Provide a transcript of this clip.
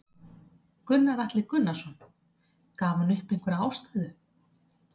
Gunnar Atli Gunnarsson: Gaf hann upp einhverja ástæðu?